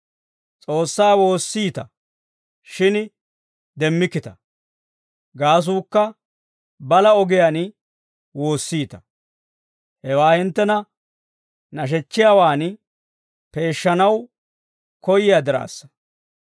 S'oossaa woossiita, shin demmikkita; gaasuukka balaa ogiyaan woossiita. Hewaa hinttena nashechchiyaawaan peeshshanaw koyyiyaa diraassa.